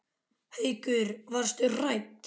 Haukur: Varstu hrædd?